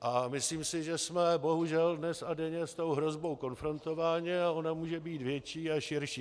A myslím si, že jsme bohužel dnes a denně s tou hrozbou konfrontováni, a ona může být větší a širší.